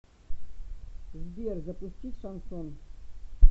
сбер запустить шансон